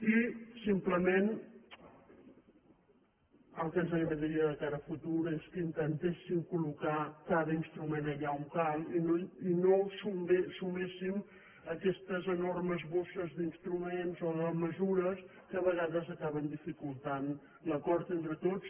i simplement el que ens agradaria de cara al futur és que intentéssim col·locar cada instrument allà on cal i no suméssim aquestes enormes bosses d’instruments o de mesures que a vegades acaben dificultant l’acord entre tots